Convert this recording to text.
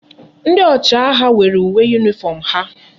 Ndi ochi agha nwere uwe uniform ha